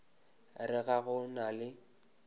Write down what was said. re ga go na le